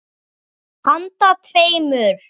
Handa tveimur